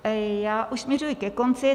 Já už směřuji ke konci.